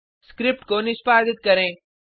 script को निष्पादित करें